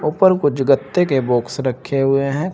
उपर कुछ गत्ते के बॉक्स रखे हुए हैं।